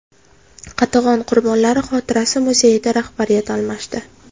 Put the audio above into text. Qatag‘on qurbonlari xotirasi muzeyida rahbariyat almashdi.